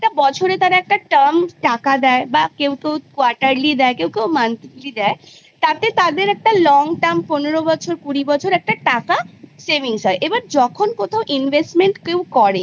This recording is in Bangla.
বছরে তারা একটা term টাকা দেয় বা কেউ কেউ quaterly দেয় কেউ কেউ monthly দেয় তাতে তাদের একটা long term পনের বছর কুড়ি বছর একটা টাকা savings হয় এবার যখন কোথাও investment কেউ করে